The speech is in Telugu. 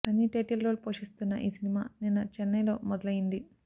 సన్నీ టైటిల్ రోల్ పోషిస్తున్న ఈ సినిమా నిన్న చెన్నై లో మొదలయింది